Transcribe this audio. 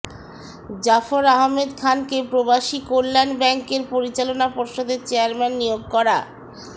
জাফর আহমেদ খানকে প্রবাসীকল্যাণ ব্যাংকের পরিচালনা পর্ষদের চেয়ারম্যান নিয়োগ করা